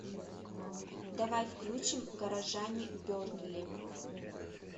давай включим горожане бернли